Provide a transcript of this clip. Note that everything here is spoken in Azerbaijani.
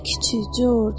Nə küçüy, Corc?